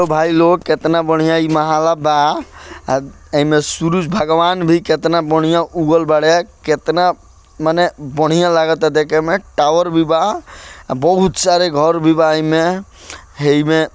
भाई लोग कितना बढ़िया इ मोहल्ला बा एमे सूरज भगवान भी कितना बढ़िया उगल बाड़े कितना माने बढ़िया लागाता देखे में टॉवर भी बा और बहुत सारा घर भी बा एमे एमे --